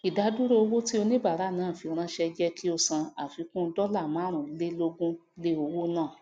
ìdádúró owó tí oníbàárà náà fi ránsé jé kí ó san àfikún dóla márùn lé lógún lé owó náà